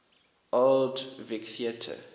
old vic theatre